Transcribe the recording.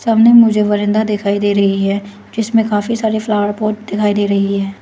सामने मुझे वरांडा दिखाई दे रही है जिसमें काफी सारे फ्लावर पॉट दिखाई दे रही है।